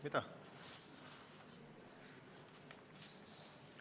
Mida?